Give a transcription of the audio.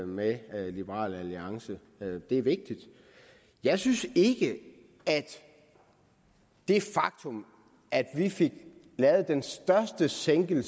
med liberal alliance det er vigtigt jeg synes ikke at det faktum at vi fik lavet den største sænkning